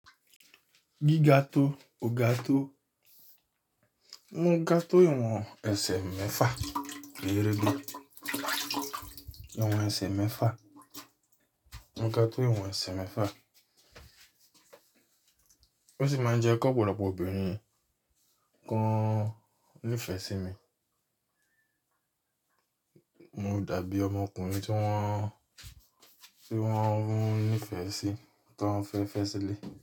Gíga tó, o ga tó. Mo ga tó ìwọ̀n ẹsẹ̀ mẹ́fà gẹ́rege. Ìwọ̀n ẹsẹ̀ mẹ́fà. Mo ga tó ìwọ̀n ẹsẹ̀ mẹ́fà. Ó sì máa ń jẹ́ kí ọ̀pọ̀lọpọ̀ obìnrin kan nífẹ̀ẹ́ sí mi. Mo dàbí ọmọkùnrin tí wọ́n, tí wọ́n nífẹ̀ẹ́ sí, tí wọ́n fẹ́ fẹ́ sílẹ̀